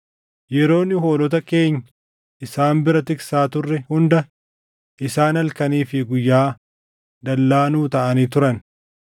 Yeroo nu hoolota keenya isaan bira tiksaa turre hunda isaan halkanii fi guyyaa dallaa nuu taʼanii turan.